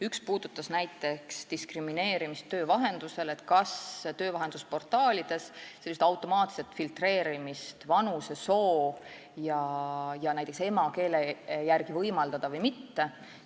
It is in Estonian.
Üks puudutas näiteks diskrimineerimist töövahendusel ja seda, kas võimaldada töövahendusportaalides automaatset filtreerimist, näiteks vanuse, soo ja emakeele järgi, või mitte.